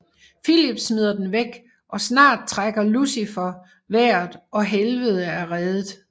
Filip smider den væk og snart trækker Lucifer vejret og Helvede er reddet